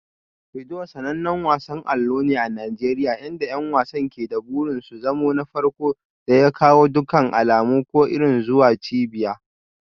Ludo sanannen wasan allo ne a Najeriya inda 'yan wasan ke da burin su zama na farko da ya kawo dukkan alamu ko iri zuwa cibiyar.